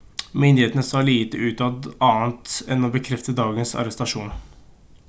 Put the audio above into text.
myndighetene sa lite utad annet enn å bekrefte dagens arrestasjon